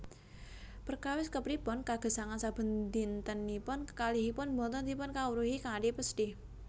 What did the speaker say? Perkawis kepripun kagesangan sabendintenipun kekalihipun boten dipunkawruhi kanthi pesthi